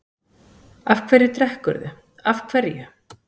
Af hverju drekkurðu, af hverju?